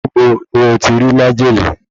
Níbo ni o ti rí májèlé